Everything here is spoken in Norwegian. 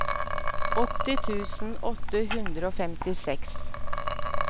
åtti tusen åtte hundre og femtiseks